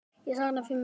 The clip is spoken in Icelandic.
Ég sakna þín mikið.